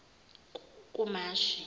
kumashi